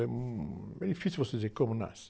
É, hum... É difícil você dizer como nasce.